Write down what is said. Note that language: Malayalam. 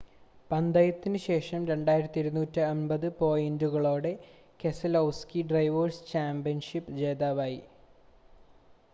പന്തയത്തിനു ശേഷം 2,250 പോയിൻ്റുകളോടെ കെസലോവ്സ്കി ഡ്രൈവേർസ് ചാമ്പ്യൻഷിപ് ജേതാവായി